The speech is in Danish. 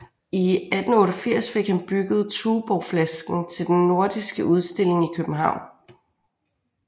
I 1888 fik han bygget Tuborgflasken til den nordiske udstilling i København